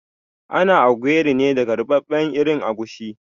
Ana ogiri ne daga ruɓaɓɓen irin agushi